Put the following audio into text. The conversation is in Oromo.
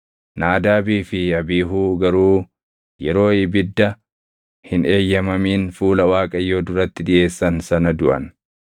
Naadaabii fi Abiihuu garuu yeroo ibidda hin eeyyamamin fuula Waaqayyoo duratti dhiʼeessan sana duʼan.